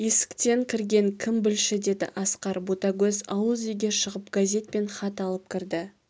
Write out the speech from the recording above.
есіктен кірген кім білші деді асқар ботагөз ауыз үйге шығып газет пен хат алып кірді